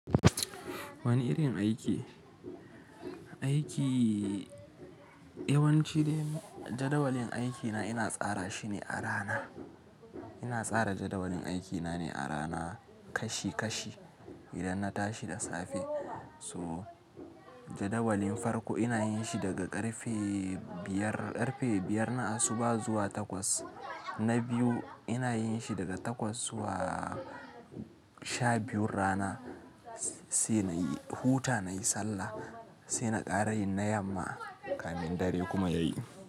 Wani irin aiki? Aiki yawanci jadawalin aikina ina tsara shi ne a rana. Ina tsara jadawalin aikina ne a rana kashi kashi idan na tashi da safe. So jadawalin farko ina yin shi daga ƙarfe biyar, ƙarfe biyar na asuba zuwa takwas na biyu ina yin shi daga takwas zuwa sha biyun rana, sai na yi huta nayi sallah, sai na ƙara yin na yamma kafin dare kuma ya yi.